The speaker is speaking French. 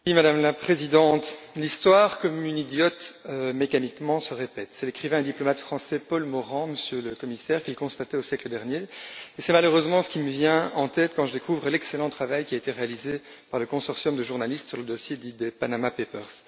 Madame la Présidente, l'Histoire, comme une idiote, mécaniquement, se répète c'est l'écrivain et diplomate français Paul Morand, Monsieur le commissaire, qui le constatait au siècle dernier, et c'est malheureusement ce qui me vient en tête quand je découvre l'excellent travail qui a été réalisé par le consortium de journalistes sur le dossier dit des Panama papers.